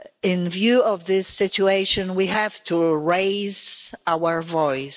In view of this situation, we have to raise our voice.